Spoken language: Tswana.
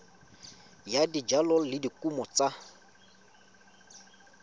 ya dijalo le dikumo tsa